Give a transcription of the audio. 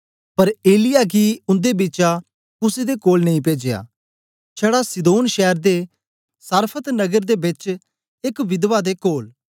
पर एलिय्याह गी उन्दे बिचा कुसे दे कोल नेई पेजया छडा सीदोन शैर दे सारफत नगर दे बेच एक विधवा दे कोल